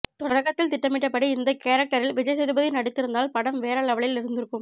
தொடக்கத்தில் திட்டமிட்டபடி இந்த கேரக்டரில் விஜய்சேதுபதி நடித்திருந்தால் படம் வேற லெவலில் இருந்திருக்கும்